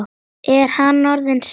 Er hann orðinn hress?